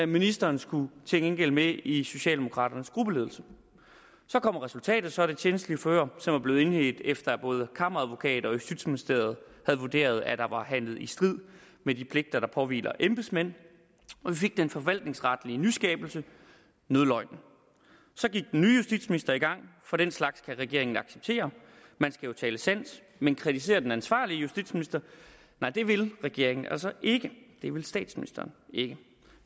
ministeren skulle til gengæld med i socialdemokraternes gruppeledelse så kommer resultatet så af det tjenstlige forhør som er blevet indledt efter at både kammeradvokaten og justitsministeriet havde vurderet at der var handlet i strid med de pligter der påhviler embedsmænd og vi fik den forvaltningsretlige nyskabelse nødløgnen så gik den nye justitsminister i gang for den slags kan regeringen ikke acceptere man skal jo tale sandt men kritisere den ansvarlige justitsminister nej det vil regeringen altså ikke det vil statsministeren ikke